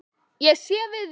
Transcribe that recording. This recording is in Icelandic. Ég sé við þér.